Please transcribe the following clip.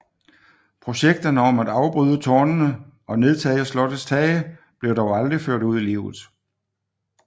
Projekterne om at afbryde tårnene og nedtage slottets tage blev dog aldrig ført ud i livet